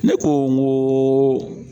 Ne ko n ko